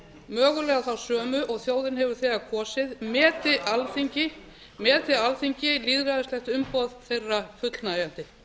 mögulega þá sömu og þjóðin hefur þegar kosið meti alþingi meti alþingi lýðræðislegt umboð þeirra fullnægjandi